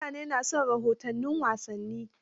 mutane na son rahoton wasanni